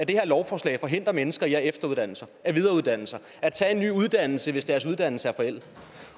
det her lovforslag forhindrer mennesker i at efteruddanne sig at videreuddanne sig at tage en ny uddannelse hvis deres uddannelse er forældet